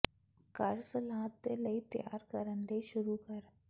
ਘਰ ਸਲਾਦ ਦੇ ਲਈ ਤਿਆਰ ਕਰਨ ਲਈ ਸ਼ੁਰੂ ਕਰ